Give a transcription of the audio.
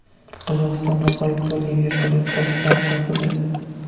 Qozog‘istonda g‘oyib bo‘lgan vertolyot qoldiqlari topildi.